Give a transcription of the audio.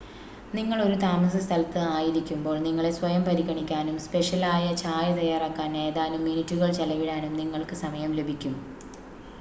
നിങ്ങൾ ഒരു താമസസ്ഥലത്ത് ആയിരിക്കുമ്പോൾ നിങ്ങളെ സ്വയം പരിഗണിക്കാനും സ്പെഷ്യലായ ചായ തയ്യാറാക്കാൻ ഏതാനും മിനിറ്റുകൾ ചെലവിടാനും നിങ്ങൾക്ക് സമയം ലഭിക്കും